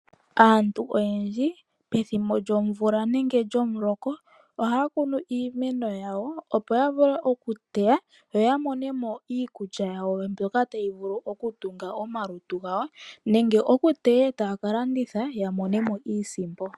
Aantu oyendji pethimbolyomvula nenge lyomuloka, ohaya kunu iimeno yawo, opo ya vule oku teya, yo ya monemo iikulya yawo mbyoka tayi vulu oku tunga omalutu gawo nenge oku teya etaya ka landitha, ya monemo iisimpo.